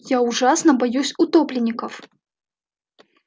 я ужасно боюсь утопленников